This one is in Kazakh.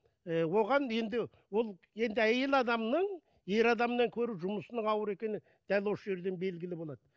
ы оған енді ол енді әйел адамның ер адамнан гөрі жұмысының ауыр екені дәл осы жерден белгілі болады